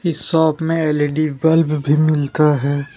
इस शॉप में L E D bulb भी मिलता है ।